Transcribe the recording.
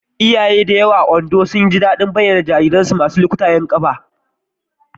Iyaye da yawa a Ondo suna jin daɗin bayyanar jariransu masu lukutayen ƙafafu.